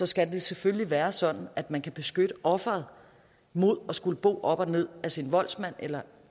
skal det selvfølgelig være sådan at man kan beskytte offeret mod at skulle bo op og ned af sin voldsmand eller